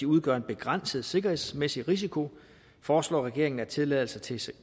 udgør en begrænset sikkerhedsrisiko foreslår regeringen at tilladelser til